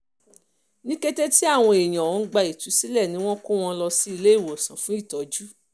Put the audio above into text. ní kété tí àwọn èèyàn ọ̀hún gba ìtúsílẹ̀ ni wọ́n kó wọn lọ sí ilé ìwòsàn fún ìtọ́jú